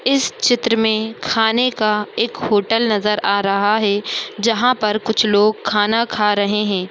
इस चित्र मे खाने का एक होटल नजर आ रहा है जहां पर कुछ लोग खाना खा रहे है।